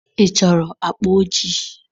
Ị chọrọ akpa ojii?